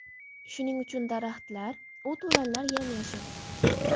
Shuning uchun daraxtlar, o‘t-o‘lanlar yam-yashil.